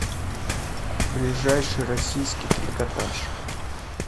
ближайший российский трикотаж